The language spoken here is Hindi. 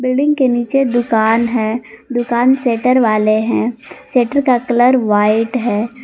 बिल्डिंग के नीचे दुकान है दुकान शेटर वाले हैं शेटर का कलर व्हाइट है।